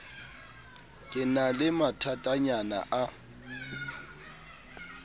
ke na le mathatanyana a